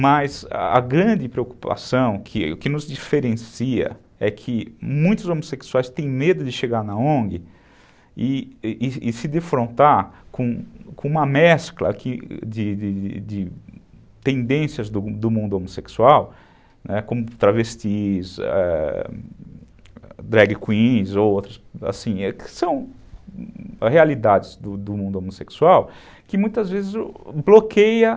Mas a grande preocupação, o que que nos diferencia, é que muitos homossexuais têm medo de chegar na ongue e se defrontar com uma mescla de de tendências do mundo homossexual, né, como travestis, drag queens, outros, que são realidades do do mundo homossexual, que muitas vezes bloqueiam